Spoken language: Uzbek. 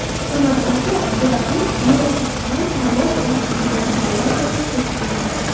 Samarqandga Budapesht meri Ishtvan Tarlosh boshchiligidagi delegatsiya tashrif buyurdi.